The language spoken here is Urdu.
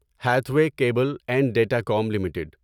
Hathway cable and datacom limited